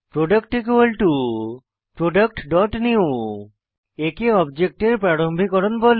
product productনিউ একে অবজেক্টের প্রারম্ভিকরণ বলে